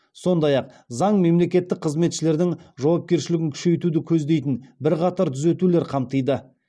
сондай ақ заң мемлекеттік қызметшілердің жауапкершілігін күшейтуді көздейтін бірқатар түзетулер қамтиды